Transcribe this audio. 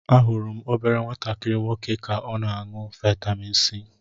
Ahụrụ m obere nwatakịrị nwoke ka o na aṅụ vitamin c.